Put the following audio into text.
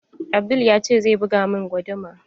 Abdul ya ce zai buga min guduma.